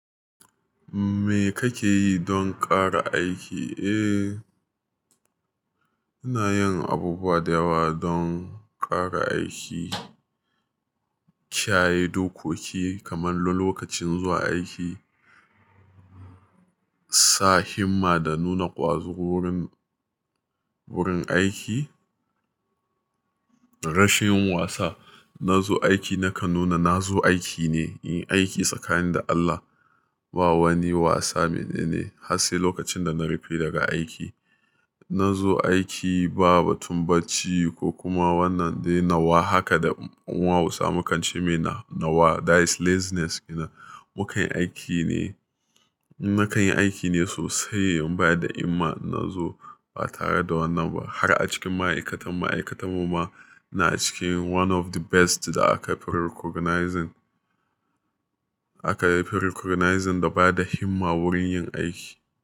Me kake yi don ƙara aiki? Eh, ina yin abubuwa da yawa don ƙara aiki. Kiyaye dokoki kamar na lokacin zuwa aiki, sa himma da nuna ƙwazo wurin, wurin aiki. Rashin wasa, na zo aiki nakan nuna na zo aiki ne, in yi aiki tsakanin da Allah. Ba wani wasa menene, har sai lokacin da na rufe daga aiki. Na zo aiki, ba batun bacci ko kuma wannan dai nawa. Haka da mu hausawa mu kance mai nawa. That is laziness. Ina, mukan yi aiki ne. Nakan yi aiki ne sosai, in ba da himma na zo ba tare da wannan ba. Har a cikin ma'aikatan ma'aikatarmu ma, ina cikin one of the best da aka fi recognizing, aka fi recognizing da bada himma wurin yin aiki.